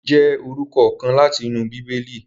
David jẹ orukọ kan lati inu Bibeli